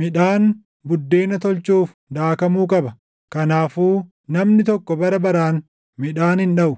Midhaan buddeena tolchuuf daakamuu qaba; kanaafuu namni tokko bara baraan midhaan hin dhaʼu.